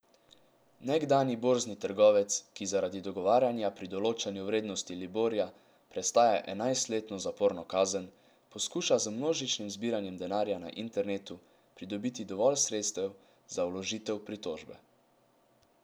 Nekdanji borzni trgovec, ki zaradi dogovarjanja pri določanju vrednosti liborja prestaja enajstletno zaporno kazen, poskuša z množičnim zbiranjem denarja na internetu pridobiti dovolj sredstev za vložitev pritožbe.